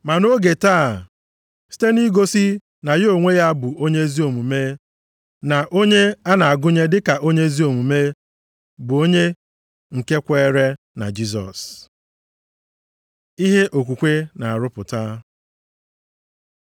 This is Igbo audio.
Ma nʼoge taa, site nʼigosi na ya onwe ya bụ onye ezi omume, na onye a na-agụnye dịka onye ezi omume bụ onye nke kweere na Jisọs. Ihe okwukwe na-arụpụta